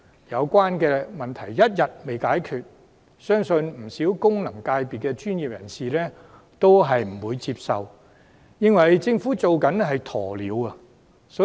這個問題一日未解決，不少功能界別的專業人士都不會接受，並質疑政府採取"鴕鳥"政策。